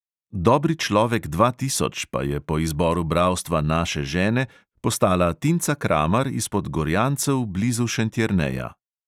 Dobri človek dva tisoč pa je po izboru bralstva naše žene postala tinca kramar izpod gorjancev blizu šentjerneja.